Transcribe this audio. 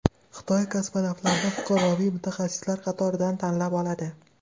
Xitoy kosmonavtlarni fuqaroviy mutaxassislar qatoridan tanlab oladi.